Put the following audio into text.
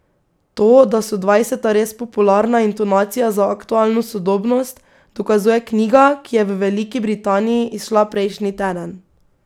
To, da so dvajseta res popularna intonacija za aktualno sodobnost, dokazuje knjiga, ki je v Veliki Britaniji izšla prejšnji teden.